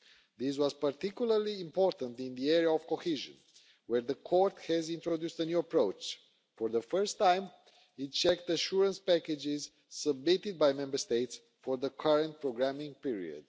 This was particularly important in the area of cohesion, where the Court has introduced a new approach for the first time, it checked assurance packages submitted by Member States for the current programming period.